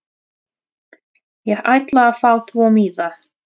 Ég ætla að fá tvo miða.